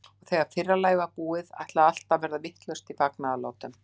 Og þegar fyrra lagið var búið, ætlaði allt að verða vitlaust í fagnaðarlátum.